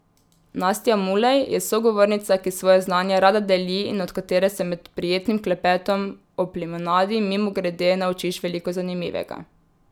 Nastja Mulej je sogovornica, ki svoje znanje rada deli in od katere se med prijetnim klepetom ob limonadi mimogrede naučiš veliko zanimivega.